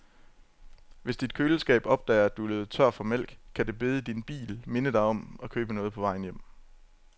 Hvis dit køleskab opdager, at du er løbet tør for mælk, kan det bede din bil minde dig om at købe noget på vejen hjem.